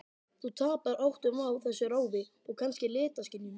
Þú tapar áttum á þessu ráfi, og kannski litaskynjun.